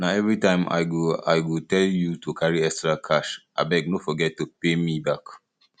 na everytime i go i go dey tell you to carry extra cash abeg no forget to pay me back